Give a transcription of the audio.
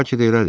Bəlkə də elədi.